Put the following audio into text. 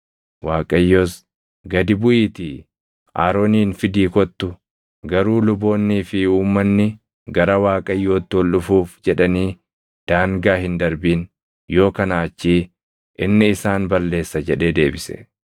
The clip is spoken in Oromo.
Waaqayyos, “Gadi buʼiitii Aroonin fidii kottu. Garuu luboonnii fi uummanni gara Waaqayyootti ol dhufuuf jedhanii daangaa hin darbin; yoo kanaa achii inni isaan balleessa” jedhee deebise.